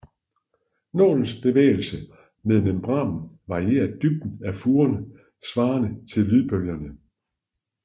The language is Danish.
Nålens bevægelser med membranen varierer dybden af furen svarende til lydbølgerne